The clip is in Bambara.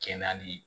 Kɛ nali ye